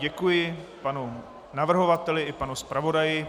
Děkuji panu navrhovateli i panu zpravodaji.